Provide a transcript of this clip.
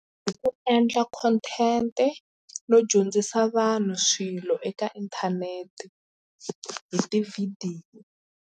Hi ku endla content-e no dyondzisa vanhu swilo eka inthanete hi tivhidiyo.